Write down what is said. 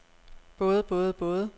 både både både